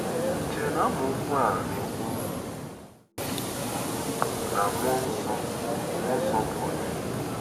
Ì chere na amaokwu a na-ekwu na mmụọ nsọ mmụọ nsọ bụ onye?